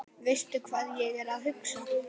Veistu hvað ég er að hugsa?